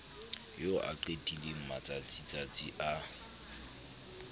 eo a qetileng matsatsitsatsi a